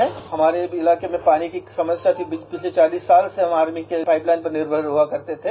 We had a problem of water scarcity in our area and we used to depend on an army pipeline for the last forty years